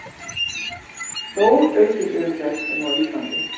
Stóraukin umferð um Ísland